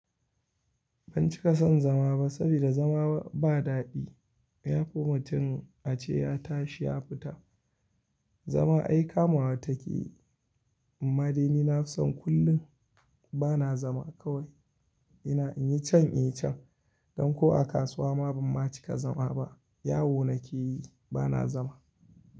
Ban cika son zama ba, saboda zama ba daɗi. Ya fi mutum a ce ya tashi ya fita. Zama ai kamuwa take. Amma dai ni na san kullum bana zama kawai ina in yi can, in yi can. Don ko a kasuwa ma ban ma cika zama ba. Yawo nake yi bana zama.